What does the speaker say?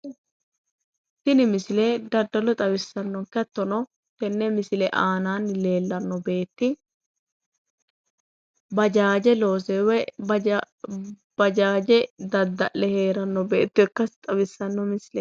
Tini misile daddalo xawisaannonke. Hattono tenne misile aanaanni leellanno beetti bajaaje loose woyi bajaaje dadda'le heeranno beetto ikkasi xawissanno.